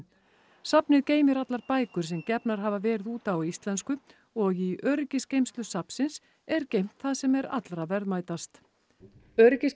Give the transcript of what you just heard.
safnið geymir allar bækur sem gefnar hafa verið út á íslensku og í öryggisgeymslu safnsins er geymt það sem er allra verðmætast